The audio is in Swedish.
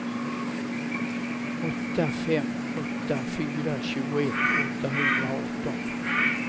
åtta fem åtta fyra tjugoett åttahundraarton